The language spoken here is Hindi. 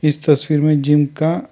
इस तस्वीर में जिम का--